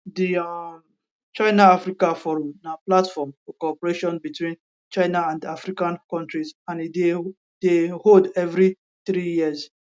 di um chinaafrica forum na platform for cooperation between china and african kontris and e dey dey hold evri three years